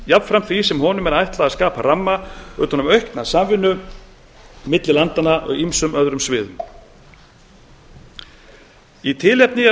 jafnframt því sem honum er ætlað að skapa ramma utan um aukna samvinnu milli landanna á ýmsum öðrum sviðum í tilefni af